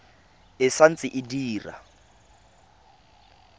e sa ntse e dira